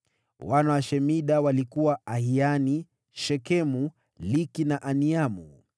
Wana wa Shemida walikuwa: Ahiani, Shekemu, Liki na Aniamu.